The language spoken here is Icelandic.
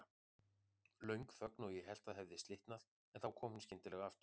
Löng þögn og ég hélt það hefði slitnað, en þá kom hún skyndilega aftur.